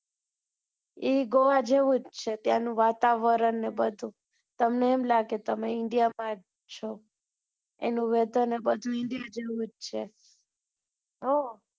એ જોવા જેવું જ છે ત્યાં નું વાતારવણ ને બધું તમને એમ લાગે તમે india માં જ છો એનું whether ને બધું india જેવું જ છે